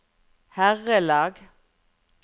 herrelag